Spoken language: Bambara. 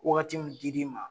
Wagati mun di li ma